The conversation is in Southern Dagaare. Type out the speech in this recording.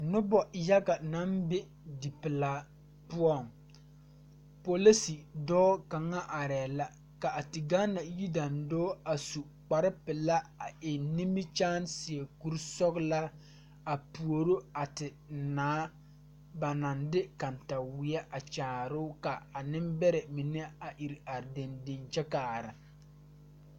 Nobɔ yaga naŋ be dipelaa poɔŋ polise dɔɔ kaŋa arɛɛ la ka a te gaana yidaandɔɔ are a su kpare pelaa a eŋ nimikyaane seɛ kurisɔglaa a puoro a te naa ba naŋ de kataweɛ a kyaaroo ka a neŋ bɛrɛ mine a ire are deŋ deŋ kyɛ kaara.